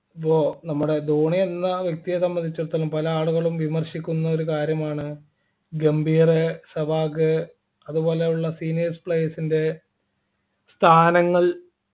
അപ്പോ നമ്മുടെ ധോണി എന്ന വ്യക്തിയെ സംബന്ധിച്ചെടുത്തോളം പല ആളുകളും വിമർശിക്കുന്ന ഒരു കാര്യമാണ് ഗംഭീർ സവാഗ് അതുപോലുള്ള Seniors players ൻ്റെ സ്ഥാനങ്ങൾ